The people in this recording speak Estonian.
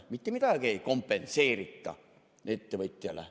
Mitte midagi ei kompenseerita ettevõtjale.